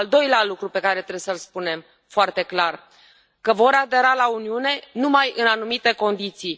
Al doilea lucru pe care trebuie să îl spunem foarte clar că vor adera la Uniune numai în anumite condiții.